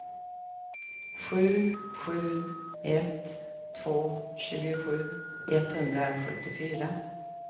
sju sju ett två tjugosju etthundrasjuttiofyra